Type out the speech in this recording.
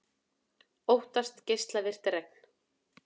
Óttast geislavirkt regn